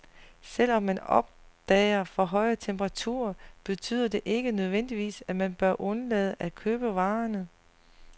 Selv om man opdager for høje temperaturer, betyder det ikke nødvendigvis, at man bør undlade at købe varerne.